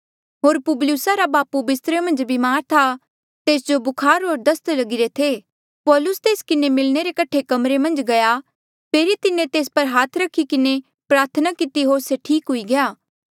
होर पुबलियुसा रा बापू बिस्तरे मन्झ बीमार था तेस जो बुखार होर दस्त लगिरे थे पौलुस तेस किन्हें मिलणे रे कठे कमरे मन्झ गया फेरी तिन्हें तेस पर हाथ रखी किन्हें प्रार्थना किती होर से ठीक हुई गया